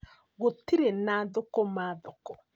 Gũtirĩ na thũkũma thoko